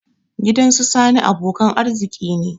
Gidan su sani abokan arziki ne